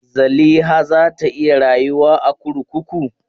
Zaliha za ta iya rayuwa a kurkuku?